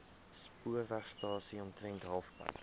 spoorwegstasie omtrent halfpad